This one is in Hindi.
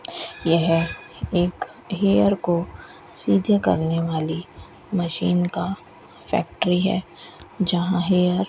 यह एक हेयर को सीधे करने वाली मशीन का फैक्ट्री है जहां हेयर --